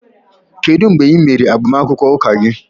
Kedu mgbe ị mere agbamakwụkwọ Ụka gị